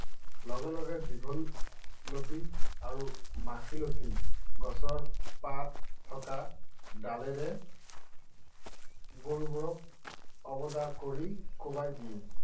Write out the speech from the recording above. লগে লগে দীঘলতি আৰু মাখিয়তী গছৰ পাত থকা ডালেৰে গৰুক কৰি কোবাই দিয়ে।